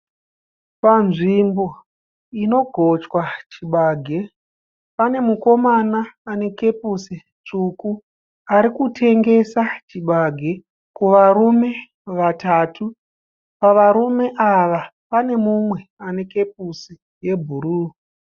Panzvimbo inogochwa chibage. Pane mukomana ane kepusi tsvuku arikutengesa chibage kuvarume vatatu. Pavarume ava pane mumwe ane kepusi yebhuruu.